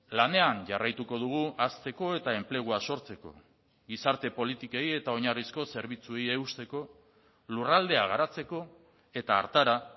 lanean jarraituko dugu hazteko eta enplegua sortzeko gizarte politikei eta oinarrizko zerbitzuei eusteko lurraldea garatzeko eta hartara